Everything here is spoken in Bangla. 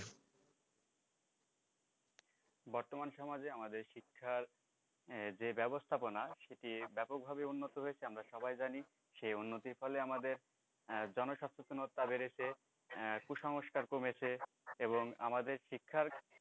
বর্তমান সমাজে আমাদের শিক্ষার যে ব্যাবস্থাপনা সেটি ব্যাপকভাবে উন্নত হয়েছে সেটি সবাই জানি সেই উন্নতির ফলে আমাদের আহ জনসচেতনতা বেড়েছে আহ কুসংস্কার কমেছে এবং আমাদের শিক্ষার